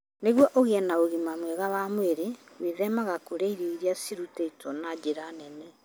Nĩguo ũgĩe na ũgima mwega wa mwĩrĩ, gwĩthemaga kũrĩa irio iria ciarutĩtwo na njĩra nene.